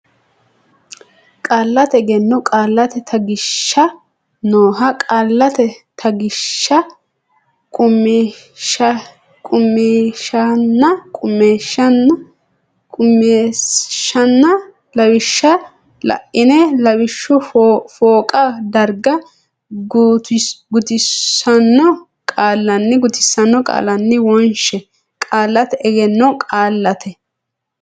Qaallate Egenno Qaallate Taggishsha nooha qaallate taggishsha qummishshanna lawishsha la ine lawishshu fooqa darga gutisanno qaalinni wonshe Qaallate Egenno Qaallate.